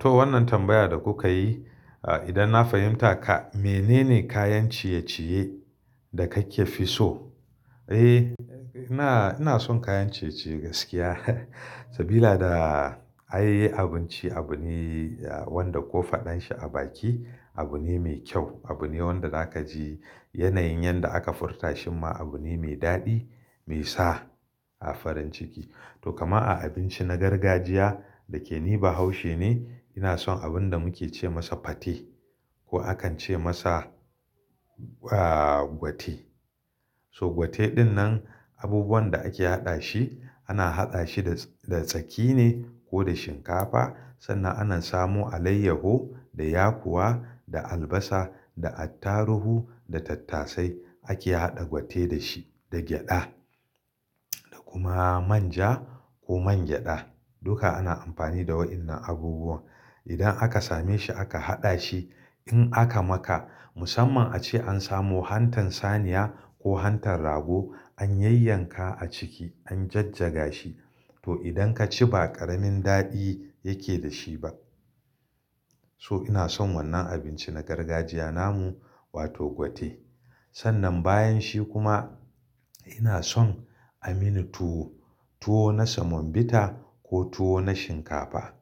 To wannan tambayar da kuka yi, idan na fahimta ka mene ne kayan ciye-ciye da kake fi so? Eh, ina ina son kayan ciye-ciye gaskiya sabila ai abinci abu ne wanda ko faɗan shi a baki abu ne mai kyau. Abu ne wanda zaka ji yanayin yanda aka furta shi ma abu ne mai daɗi, mai sa farin ciki. To kamar a abinci na gargajiya da ke ni bahaushe ne ina son abun da muke ce masa fate ko akan ce masa ah gwate. So gwate dinnan abubuwan da ake haɗa shi ana haɗa shi da tsaki ne ko da shinkafa sannan ana samo alayyahu da yakuwa da albasa da attaruhu da tattasai ake haɗa gwate da shi da gyaɗa da kuma manja ko man gyaɗa. Duka ana amfani da wainnan abubuwan. Idan aka same shi aka haɗa shi in aka maka musamman ace an samu hantan saniya ko hantan rago an yayyanka a ciki an jajjaga shi to idan ka ci ba ƙaramin daɗi yake da shi ba. So ina son wannan abinci na gargajiya namu wato gwate. Sannan bayan shi kuma ina son a mini tuwo, tuwo na semon bita ko tuwo na shinkafa.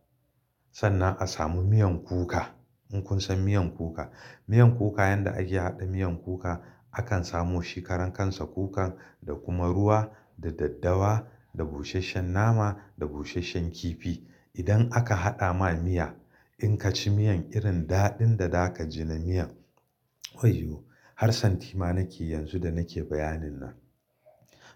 Sannan a samu miyan kuka. In kun san miyan kuka, miyan kuka yanda ake haɗa miyan kuka akan samu shikaran kansa kukan da kuma ruwa da daddawa da busasshen nama da busasshen kifi. Idan aka haɗa ma miya in ka ci miyan irin daɗin da zaka ji na miyan wayyo! Har santi ma nake yanzu da nake bayanin nan.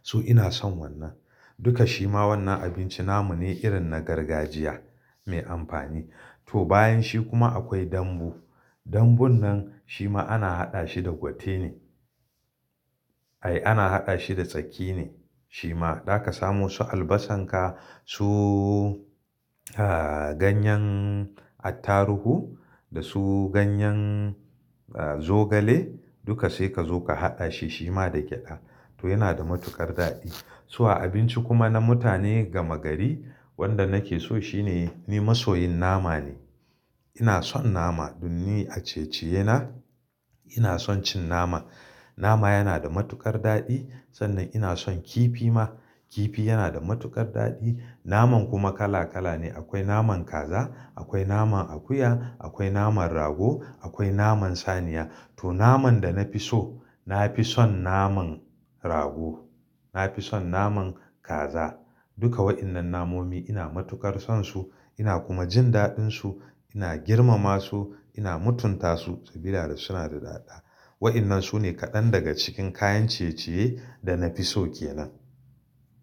So ina son wannan. Duka shi ma wannan abinci namu ne irin na gargajiya mai amfani. To bayan shi kuma akwai dambu. Dambun nan shi ma ana haɗa shi da gwate ne. Ai ana haɗa shi da tsaki ne shi ma. Zaka samu su albasan ka su ganyan attaruhu da su ganyan zogale duka sai ka zo ka haɗa shi shi ma da gyaɗa. To yana da matuƙar daɗi. So a abinci kuma na mutane gama gari wanda nake so shine ni masoyin nama ne. Ina son nama dun ni a ciye-ciye na ina son cin nama. Nama yana da matuƙar daɗi sannan ina son kifi ma. Kifi yana da matuƙar daɗi naman kuma kala kala ne. Akwai naman kaza, akwai naman akuya, akwai naman rago, akwai naman saniya. To naman da na fi so na fi son naman rago. Na fi son naman kaza. Duka wainnan namomi ina matuƙar son su ina kuma jin daɗin su ina girmama su ina mutunta su sabila da suna da daɗaɗa. Wainnan sune kaɗan daga cikin kayan ciye-ciye da na fi so kenan.